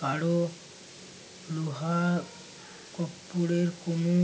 কারো মহা কপ্পোরে কোনো